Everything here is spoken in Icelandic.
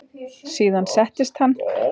Síðan settist hann.